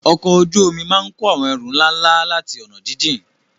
Ọkọ̀ ojú omi máa ń kó àwọn ẹrù ńlá ńlá láti ọ̀nà jíjìn.